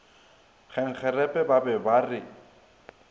kgenkgerepe ba be ba re